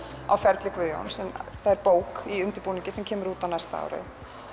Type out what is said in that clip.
á ferli Guðjóns það er bók í undirbúningi sem kemur út á næsta ári